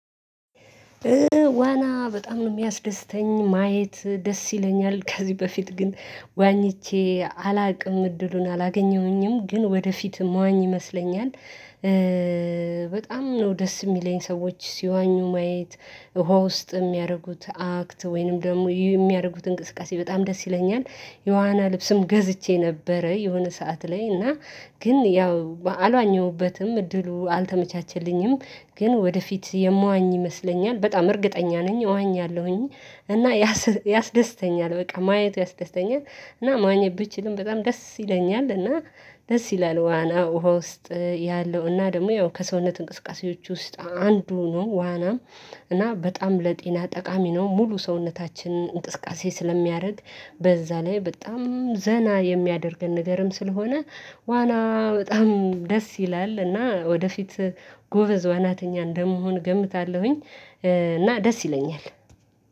ዋና በጣም ነው የሚያስደስተኝ ማየት ደስ ይለኛል ከዚህ በፊት ግን ዋኝቼ አላውቅም እድሉን አላገኘሁኝም ግን ወደፊትም ዋኝ ይመስለኛል። በጣም ነው ደስ የሚለኝ ሰዎች ሲዋኙ ማየት ውሃ ውስጥ የሚያደርጉት አክት ወይንም ደግሞ የሚያደርጉት እንቅስቃሴ በጣም ደስ ይለኛል። የዋና ልብስም ገዝቼ ነበረ የሆነ ሰዓት ላይ እና። ግን ያው አልዋኘሁበትም እድሉ አልተመቻቸልኝም። ግን ወደፊት የማዋኝ ይመስለኛል በጣም እርግጠኛ ነኝ እዋኛለሁኝ። እና ያስደስተኛል በቃ ማየቱ ያስደስተኛል። እና መዋኘት ብችልም በጣም ደስ ይለኛል እና። ደስ ይላል ዋና ውሃ ውስጥ ያለው እና ደግሞ ያው ከሰውነት እንቅስቃሴዎች ውስጥ አንዱ ነው ዋናም። እና በጣም ለጤና ጠቃሚ ነው። ሙሉ ሰውነታችንን እንቅስቃሴ ስለሚያደርግ በዛ ላይ በጣም ዘና የሚያደርገን ነገርም ስለሆነ። ዋና በጣም ደስ ይላል እና ወደፊት ጎበዝ ዋናተኛ እንደመሆን ገምታለሁኝ። እና ደስ ይለኛል።